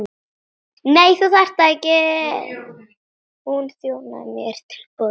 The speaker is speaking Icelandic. Hún þjónaði mér til borðs.